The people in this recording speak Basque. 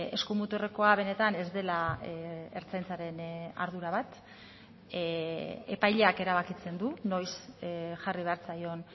eskumuturrekoa benetan ez dela ertzaintzaren ardura bat epaileak erabakitzen du noiz jarri behar zaion